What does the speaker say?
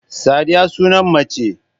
Sadiya sunan mace